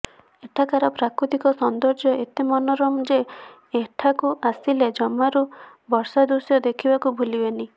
ଏଠାକାର ପ୍ରାକୃତିକ ସୌନ୍ଦର୍ଯ୍ୟ ଏତେ ମନୋରମ ଯେ ଏଠାକୁ ଆସିଲେ ଜମାରୁ ବର୍ଷା ଦୃଶ୍ୟ ଦେଖିବାକୁ ଭୁଲିବେନି